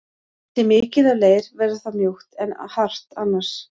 Sé mikið af leir verður það mjúkt en hart annars.